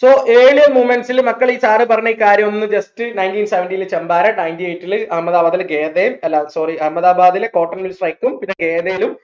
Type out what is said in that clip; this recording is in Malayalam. so early movements ൽ മക്കൾ ഈ sir പറഞ്ഞ ഈ കാര്യോ ഒന്ന് just nineteen seventeen ൽ ചമ്പാരൻ ninetyeight ൽ അഹമ്മദാബാദ്ലെ ഖേധ അല്ല sorry അഹമ്മദാബാദ്‌ലെ cotton mill strike ഉം പിന്നേ ഖേധേലും